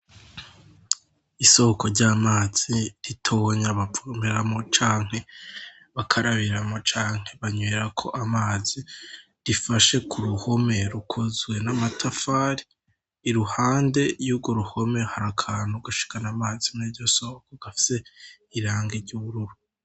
Isohoko ry'amazi ritobonya bapfumeramo canke bakarabiramo canke banywira ko amazi rifashe ku ruhome rukozwe n'amatafari iruhande y'ugo ruhome hari akantu gashikana amazi mejosohoko gafise irange ry'ubururu.